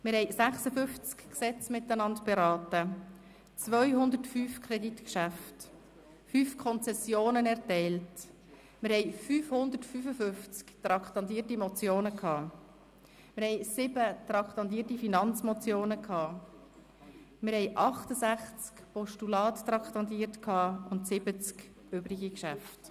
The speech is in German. Wir haben 56 Gesetze miteinander beraten, 205 Kreditgeschäfte, 5 Konzessionen erteilt, wir hatten 555 traktandierte Motionen, 7 traktandierte Finanzmotionen, wir hatten 68 Postulate traktandiert und 70 übrige Geschäfte.